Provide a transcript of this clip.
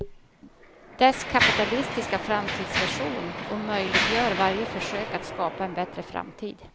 Dess kapitalistiska framtidsvision omöjliggör varje försök att skapa en bättre framtid.